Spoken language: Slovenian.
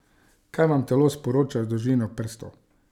Kaj vam telo sporoča z dolžino prstov?